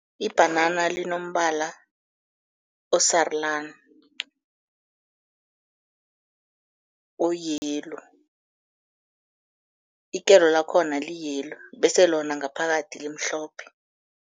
Ibhanana linombala osarulani o-yellow, ikelo lakhona li-yellow bese lona ngaphakathi limhlophe.